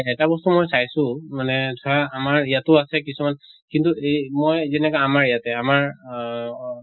এটা বস্তু মই চাইছো মানে ধৰা আমাৰ ইয়াতো আছে কিছুমান কিন্তু এই মই যেনেকা আমাৰ ইয়াতে আমাৰ অহ